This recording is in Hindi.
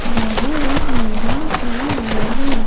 बाहर एक मैदान पड़े हुए हैं ।